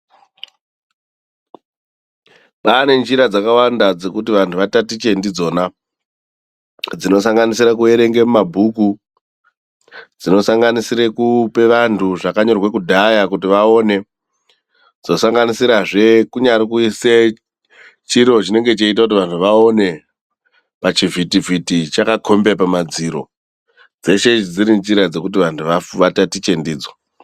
Kwaane nzira dzakawanda dzekuti vandu vatatiche ndidzona dzinosanganisira kuverenge mumabhuku, dzinosanganisire kupe vandu zvakanyorwa kudhaya kuti vaone dzinosanganisirazve kunyari kuise chiro cheiita kuti vandu vaone pachivhiti vhiti chakakombe pamadziro. Dzeshe idzi dzirinjira dzekuti vantu vatatiche ndidzo.